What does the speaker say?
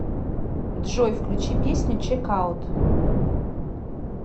джой включи песню чек аут